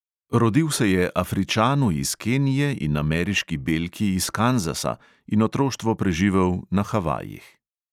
Rodil se je afričanu iz kenije in ameriški belki iz kanzasa in otroštvo preživel na havajih.